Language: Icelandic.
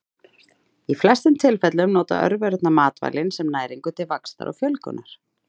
Í flestum tilfellum nota örverurnar matvælin sem næringu til vaxtar og fjölgunar.